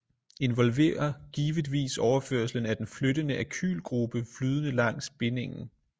Involverer givetvis overførslen af den flyttende alkylgruppe flydende langs bindingen